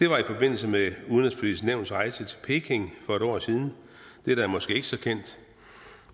var i forbindelse med udenrigspolitisk nævns rejse til peking for et år siden det er måske ikke så kendt